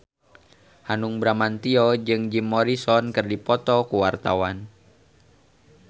Hanung Bramantyo jeung Jim Morrison keur dipoto ku wartawan